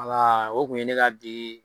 o tun ye ne ka bi